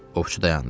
Ovçu dayandı.